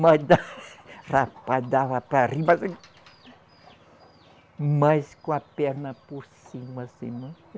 Mas da, rapaz, dava para rir, mas. Mas com a perna por cima, assim, não